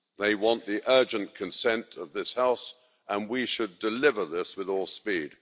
They want the urgent consent of this House, and we should deliver this with all speed.